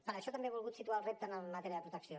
per això també he volgut situar el repte en matèria de protecció